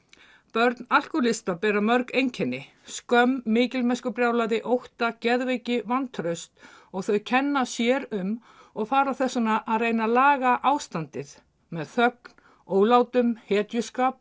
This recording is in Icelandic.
börn alkóhólista bera mörg einkenni skömm mikilmennskubrjálæði ótta geðveiki vantraust og þau kenna sér um og fara þess vegna að reyna að laga ástandið með þögn ólátum hetjuskap